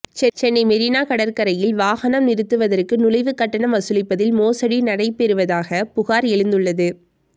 சென்னை மெரினா கடற்கரையில் வாகனம் நிறுத்துவதற்கு நுழைவு கட்டணம் வசூலிப்பதில் மோசடி நடைபெறுவதாக புகார் எழுந்துள்ளது